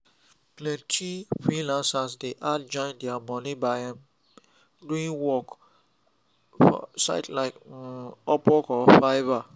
plenty freelancers dey add join their money by um doing extra work for sites like um upwork or fiverr